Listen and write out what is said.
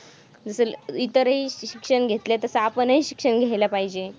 जसं इतरही शिक्षण घेतलंय तसं आपणही शिक्षण घ्यायला पाहिजे.